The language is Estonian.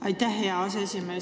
Aitäh, hea aseesimees!